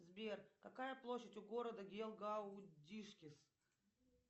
сбер какая площадь у города гелгаудишкис